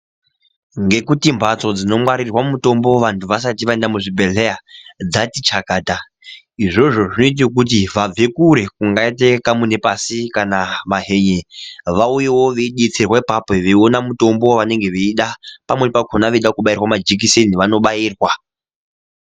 Ngekuti mbatso dzinongwarirwa mitombo vanhu vasati vaenda muzvibhedhleya dzati chakata. Izvozvo zvoite kuti vabve kure ,zvakaite kaMunepasi kana Mahenye vauyewo veidetserwa apapo veiona mutombo wavanenge veida, pamweni pakhona veida kubairwa majikiseni vanobairwa.